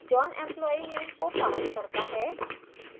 john employee name को passed करता है